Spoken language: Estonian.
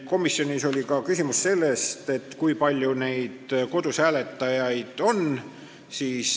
Komisjonis oli küsimus, kui palju neid kodus hääletajaid on.